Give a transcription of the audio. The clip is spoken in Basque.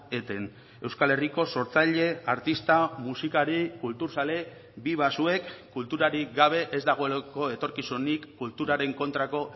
eten euskal herriko sortzaile artista musikari kulturzale biba zuek kulturarik gabe ez dagoelako etorkizunik kulturaren kontrako